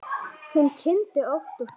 Hún kyngdi ótt og títt.